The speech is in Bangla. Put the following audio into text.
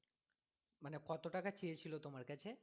মানে কতো টাকা চেয়েছিলো তোমার কাছে